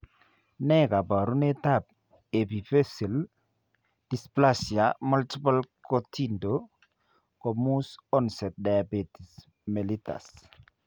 Ne kaabarunetap Epiphyseal dysplasia multiple kotindo komus onset diabetes mellitus?